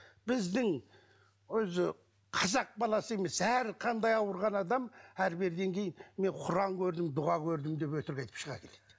біздің өзі қазақ баласы емес әрқандай ауырған адам әрі беріден кейін мен құран көрдім дұға көрдім деп өтірік айтып шыға келеді